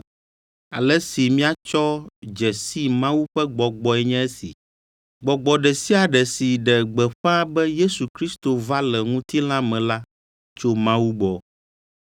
Ale si míatsɔ dze si Mawu ƒe Gbɔgbɔe nye esi: Gbɔgbɔ ɖe sia ɖe si ɖe gbeƒã be Yesu Kristo va le ŋutilã me la tso Mawu gbɔ.